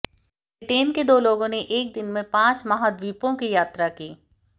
Britain के दो लोगों ने एक दिन में पांच महाद्वीपों की यात्रा की